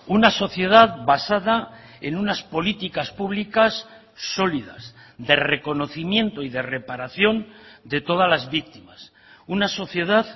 una sociedad basada en unas políticas públicas solidas de reconocimiento y de reparación de todas las víctimas una sociedad